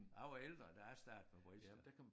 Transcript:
Jeg var ældre da jeg startede med bridge da